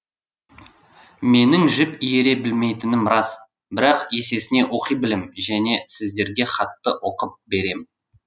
менің жіп иіре білмейтінім рас бірақ есесіне оқи білем және сіздерге хатты оқып берем